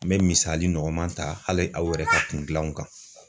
N me misali nɔgɔman ta hali aw yɛrɛ ka kun gilanw kan